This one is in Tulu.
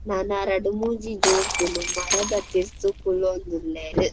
ನನ ರಡ್ಡ್ ಮೂಜಿ ಜೋಕುಲು ಮರದ ತಿರ್ತ್ ಕುಲೋಂದು ಉಲ್ಲೆರ್.